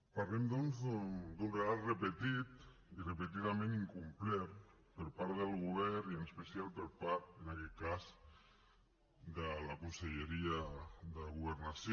parlem doncs d’un relat repetit i repetidament incomplert per part del govern i en especial per part en aquest cas de la conselleria de governació